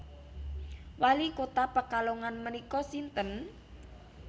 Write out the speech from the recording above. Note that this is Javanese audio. Wali kota Pekalongan menika sinten?